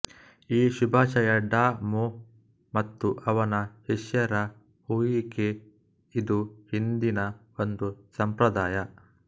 ಈ ಶುಭಾಶಯ ಡಾ ಮೊ ಮತ್ತು ಅವನ ಶಿಷ್ಯರ ಹುಯಿ ಕೆ ಇದು ಹಿಂದಿನ ಒಂದು ಸಂಪ್ರದಾಯ